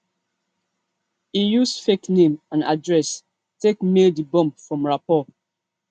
e use fake name and address take mail di bomb from raipur